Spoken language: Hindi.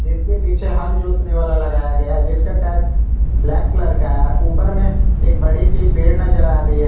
इसके पीछे हल जोतने वाला लगाया गया है जिसका टर्क ब्लैक कलर का है ऊपर में एक बड़ी सी पेड़ नजर आ रही है।